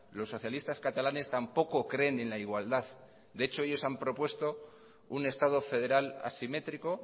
los socialistas catalanes tampoco creen en la igualdad de hecho ellos han propuesto un estado federal asimétrico